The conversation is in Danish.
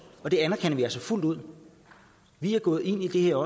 og det anerkender vi altså fuldt ud vi er gået ind i det her